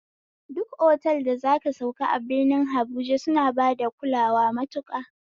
Duk otal da zaka sauka a birni habuja suna bada kulawa matuƙa